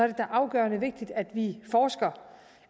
da afgørende vigtigt at vi forsker